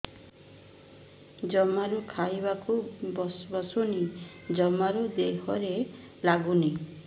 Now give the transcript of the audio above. ଜମାରୁ ଖାଇବାକୁ ବସୁନି ଜମାରୁ ଦେହରେ ଲାଗୁନି